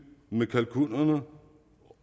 med kalkunerne